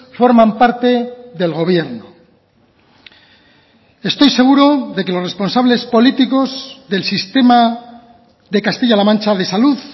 forman parte del gobierno estoy seguro de que los responsables políticos del sistema de castilla la mancha de salud